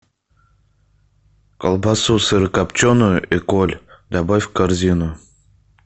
колбасу сырокопченую эколь добавь в корзину